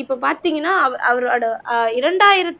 இப்ப பார்த்தீங்கன்னா அவ அவரோட ஆஹ் இரண்டாயிரத்தி